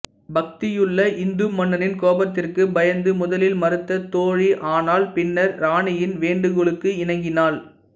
பக்தியுள்ள இந்து மன்னனின் கோபத்திற்கு பயந்து முதலில் மறுத்த தோழி ஆனால் பின்னர் இராணியின் வேண்டுகோளுக்கு இணங்கினாள்